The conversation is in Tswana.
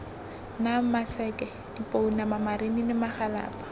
nang maseke dipounama marinini magalapa